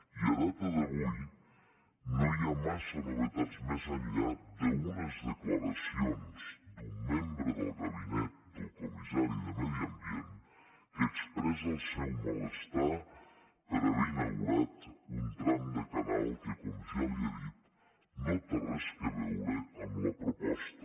i en data d’avui no hi ha massa novetats més enllà d’unes declaracions d’un membre del gabinet del comissari de medi ambient que expressa el seu malestar per haver inaugurat un tram de canal que com ja li he dit no té res a veure amb la proposta